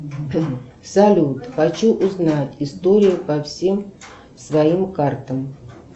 салют хочу узнать историю по всем своим картам